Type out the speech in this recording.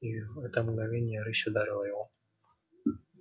и в это мгновение рысь ударила его